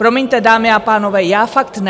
Promiňte, dámy a pánové, já fakt ne.